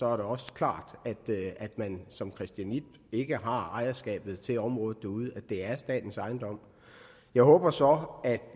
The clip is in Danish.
er det også klart at man som christianit ikke har ejerskabet til området derude altså at det er statens ejendom jeg håber så at